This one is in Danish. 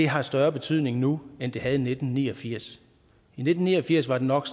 har større betydning nu end det havde i nitten ni og firs i nitten ni og firs var det nok